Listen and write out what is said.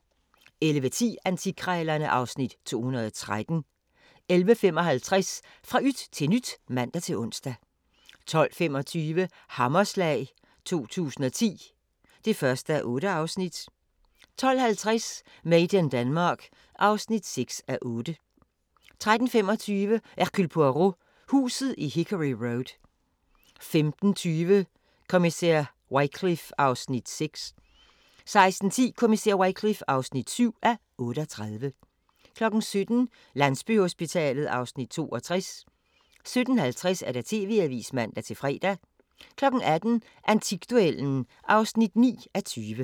11:10: Antikkrejlerne (Afs. 213) 11:55: Fra yt til nyt (man-ons) 12:25: Hammerslag 2010 (1:8) 12:50: Made in Denmark (6:8) 13:35: Hercule Poirot: Huset i Hickory Road 15:20: Kommissær Wycliffe (6:38) 16:10: Kommissær Wycliffe (7:38) 17:00: Landsbyhospitalet (Afs. 62) 17:50: TV-avisen (man-fre) 18:00: Antikduellen (9:20)